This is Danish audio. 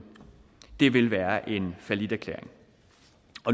det vil være en falliterklæring